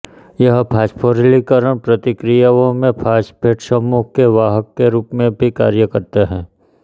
यह फास्फोरिलीकरण प्रतिक्रियाओं में फास्फेट समूहों के वाहक के रूप में भी कार्य करता है